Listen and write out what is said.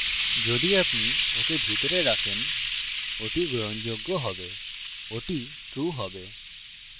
যদি আপনি ওকে ভিতরে রাখেন ওটি গ্রহণযোগ্য হবে; ওটি true হবে